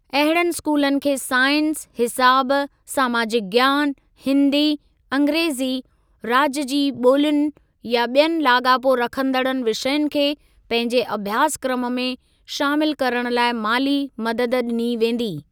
अहिड़नि स्कूलनि खे साइंस, हिसाब, समाजिक ज्ञान, हिंदी, अंग्रेज़ी, राज्य जी ॿोलियुनि या ॿियनि लाॻापो रखंदड़ विषयनि खे पंहिंजे अभ्यासक्रम में शामिल करण लाइ माली मदद ॾिनी वेंदी।